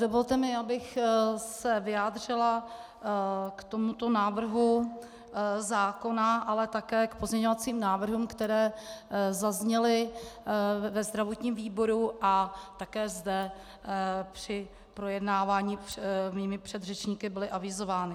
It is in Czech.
Dovolte mi, abych se vyjádřila k tomuto návrhu zákona, ale také k pozměňovacím návrhům, které zazněly ve zdravotním výboru a také zde při projednávání mými předřečníky byly avizovány.